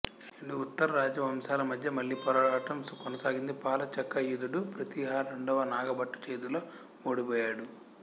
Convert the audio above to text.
రెండు ఉత్తర రాజవంశాల మధ్య మళ్ళీ పోరాటం కొనసాగింది పాల చక్రాయుధుడు ప్రతీహార రెండవ నాగభట్టు చేతిలో ఓడిపోయాడు